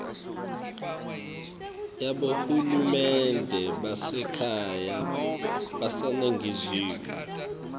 yabohulumende basekhaya baseningizimu